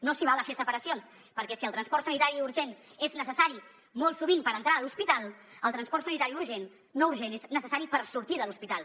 no s’hi val a fer separacions perquè si el transport sanitari urgent és necessari molt sovint per entrar a l’hospital el transport sanitari no urgent és necessari per sortir de l’hospital